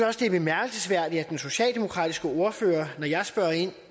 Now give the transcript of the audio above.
også det er bemærkelsesværdigt at den socialdemokratiske ordfører når jeg spørger ind